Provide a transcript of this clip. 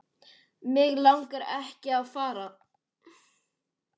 Mig langaði ekki að fara.